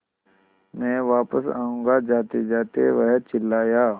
मैं वापस आऊँगा जातेजाते वह चिल्लाया